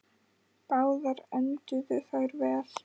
Báðar enduðu þær vel.